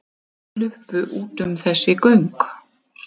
Sluppu út um þessi göng